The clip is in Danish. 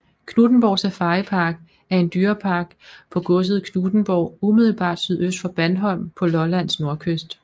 Knuthenborg Safaripark er en dyrepark på godset Knuthenborg umiddelbart sydøst for Bandholm på Lollands nordkyst